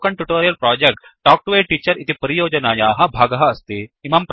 spoken tutorial project talk to a teacher इति परियोजनायाः भागः अस्ति